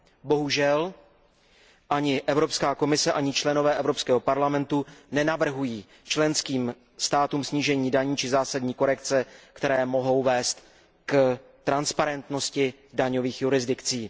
Bohužel ani Evropská komise, ani poslanci Evropského parlamentu nenavrhují členským státům snížení daní či zásadní korekce, které mohou vést k transparentnosti daňových jurisdikcí.